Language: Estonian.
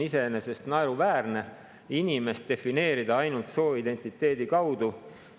Iseenesest on naeruväärne inimest defineerida ainult sooidentiteedi kaudu.